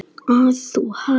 Að þú hafir séð hana?